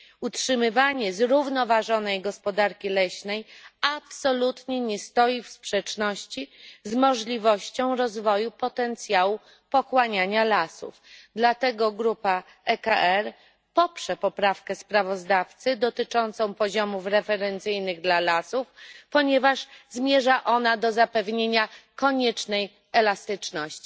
Utrzymywanie zrównoważonej gospodarki leśnej absolutnie nie stoi w sprzeczności z możliwością rozwoju potencjału pochłaniania lasów, dlatego grupa ECR poprze poprawkę sprawozdawcy dotyczącą poziomów referencyjnych dla lasów, ponieważ zmierza ona do zapewnienia koniecznej elastyczności.